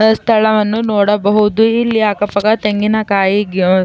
ಸ್ಥಳವನ್ನು ನೋಡಬಹುದು ಇಲ್ಲಿ ಅಕ್ಕಪಕ್ಕ ತೆಂಗಿನಕಾಯಿ --